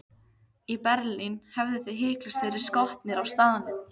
Í Berlín hefðuð þið hiklaust verið skotnir á staðnum.